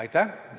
Aitäh!